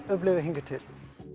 upplifað hingað til